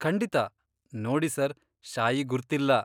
ಖಂಡಿತ. ನೋಡಿ ಸರ್, ಶಾಯಿ ಗುರ್ತಿಲ್ಲ.